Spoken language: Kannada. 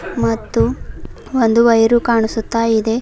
ಮತ್ತು ಒಂದು ವೈರು ಕಾಣುಸುತ್ತ ಇದೆ.